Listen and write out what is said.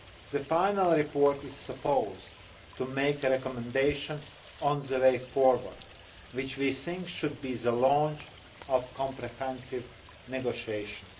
The final report is supposed to make a recommendation on the way forward, which we think should be the launch of comprehensive negotiations.